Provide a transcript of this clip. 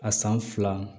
A san fila